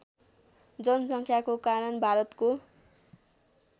जनसङ्ख्याको कारण भारतको